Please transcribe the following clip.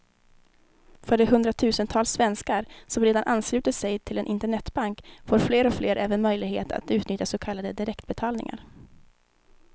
För de hundratusentals svenskar som redan anslutit sig till en internetbank får fler och fler även möjlighet att utnyttja så kallade direktbetalningar.